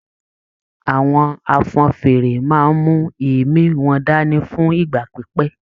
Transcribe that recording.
Àwọn afọ́nfèére máa n mú èémí wọn dání fún ìgbà pípẹ́.